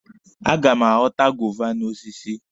A ga m aghọta guava n'osisi.